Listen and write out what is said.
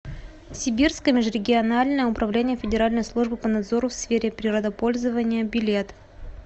сибирское межрегиональное управление федеральной службы по надзору в сфере природопользования билет